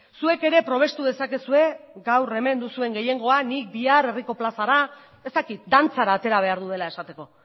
zuek ere probestu dezakezue gaur hemen duzuen gehiengoa nik bihar herriko plazara ez dakit dantzara atera behar duela esateko